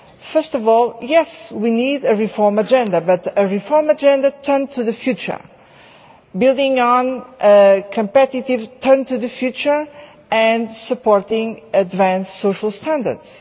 First of all, yes, we need a reform agenda, but a reform agenda turned to the future, building on a competitive turn to the future, and supporting advanced social standards